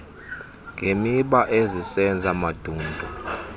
ngemiba ezisenza mandundu